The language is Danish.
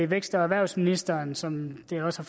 vækst og erhvervsministeren som det også